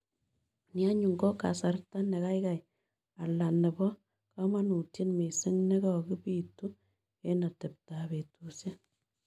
Ni anyun ko kasarta ne kaigai ala ne po kamanutiet misiing ' ne kigobitu eng' ateptap betusiek